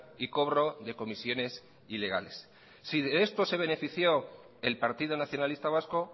y cobro de comisiones ilegales si de esto se benefició el partido nacionalista vasco